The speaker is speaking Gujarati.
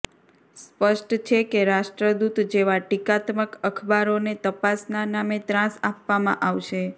સ્પષ્ટ છે કે રાષ્ટ્રદૂત જેવા ટીકાત્મક અખબારોને તપાસના નામે ત્રાસ આપવામાં આવશે